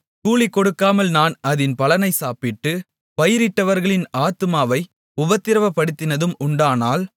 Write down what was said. கூலிகொடுக்காமல் நான் அதின் பலனைச் சாப்பிட்டு பயிரிட்டவர்களின் ஆத்துமாவை உபத்திரவப்படுத்தினதும் உண்டானால்